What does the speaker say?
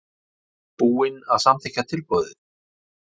Búinn að samþykkja tilboð?